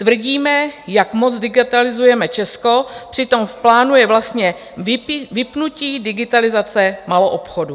Tvrdíme, jak moc digitalizujeme Česko, přitom v plánu je vlastně vypnutí digitalizace maloobchodu.